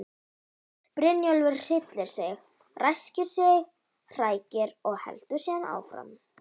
Brynjólfur hryllir sig, ræskir sig, hrækir og heldur síðan áfram.